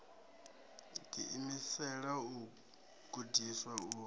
ḓi imisela u gudiswa u